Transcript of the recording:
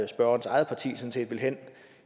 spørgerens eget parti sådan set vil hen